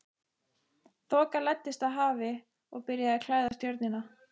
Þoka læddist af hafi og byrjaði að klæða ströndina.